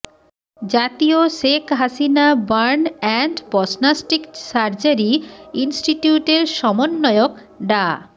জাতীয় Sheikh Hasina burn and plastic surgery ইনস্টিটিউটের সমন্বয়ক ডা